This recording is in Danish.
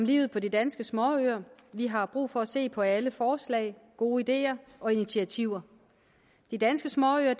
livet på de danske småøer vi har brug for at se på alle forslag gode ideer og initiativer de danske småøer er